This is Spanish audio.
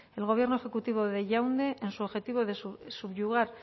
el gobierno ejecutivo de yaundé en su objetivo de subyugar